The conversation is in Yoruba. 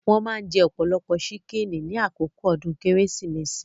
Wón maa ń jẹ ọ̀pọ̀lọpọ̀ ṣíkìnnì ní àkókò ọdún Kérésìmesì